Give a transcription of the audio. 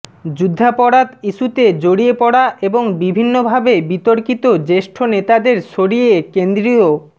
যুদ্ধাপরাধ ইস্যুতে জড়িয়ে পড়া এবং বিভিন্নভাবে বিতর্কিত জ্যেষ্ঠ নেতাদের সরিয়ে কেন্দ্রীয়